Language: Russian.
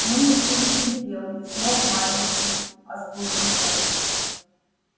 ну и перетерпел не смог матери ослушаться